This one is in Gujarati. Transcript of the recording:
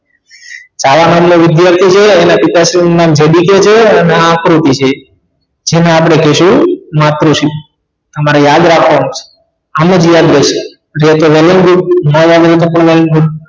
છાયા નામ નો વિધાર્થી છે એના પિતાશ્રી નામ છે અને આ આકૃતિ છે જેને આપણે કેશું માતૃશ્રી તમારે યાદ રાખવાનું છે આમ જ યાદ રેશે જેમ કે મનવદીપ